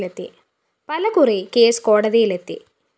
പല കുറി കേസ് കോടതിയില്‍ എത്തി